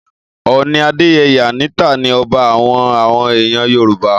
Ọọ̀ni Adeyeye Enitan III ni ọba àwọn àwọn ẹ̀yà Yorùbá.